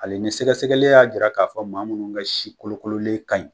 Hali ni sɛgɛsɛgɛli y'a jira k'a fɔ maa minnu ka sikolokololen kaɲi